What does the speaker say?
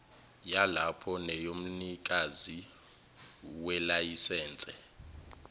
yalapho neyomnikazi welayisense